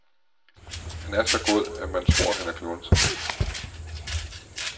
Han er så god, at man tror han er klunser.